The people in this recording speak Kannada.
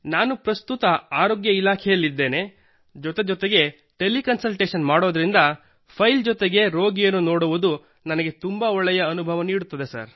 ನಾನು ಪ್ರಸ್ತುತ ಆರೋಗ್ಯ ಇಲಾಖೆಯಲ್ಲಿದ್ದೇನೆ ಜೊತೆ ಜೊತೆಗೆ ಟೆಲಿಕನ್ಸಲ್ಟೇಶನ್ ಮಾಡುವುದರಿಂದ ಫೈಲ್ ಜೊತೆಗೆ ರೋಗಿಯನ್ನು ನೋಡುವುದು ನನಗೆ ತುಂಬಾ ಒಳ್ಳೆಯ ಅನುಭವವನ್ನು ನೀಡುತ್ತಿದೆ